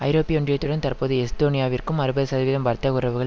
ஐரோப்பிய ஒன்றியத்துடன் தற்போது எஸ்தோனியாவிற்கு அறுபது சதவீதம் வர்த்தக உறவுகள்